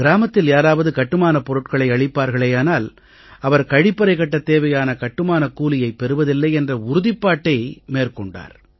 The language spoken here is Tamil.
கிராமத்தில் யாராவது கட்டுமானப் பொருள்களை அளிப்பார்களேயானால் அவர் கழிப்பறை கட்டத் தேவையான கட்டுமானக் கூலையைப் பெறுவதில்லை என்ற உறுதிப்பாட்டை மேற்கொண்டார்